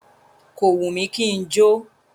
Kò wù mí kí n jó.